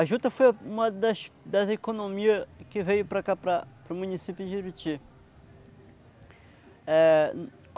A Juta foi uma das das economias que veio para cá, para o município de Jiruti. É